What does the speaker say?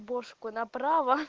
бошку на право